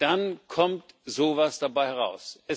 kungeln, dann kommt so was dabei